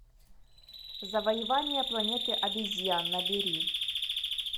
завоевание планеты обезьян набери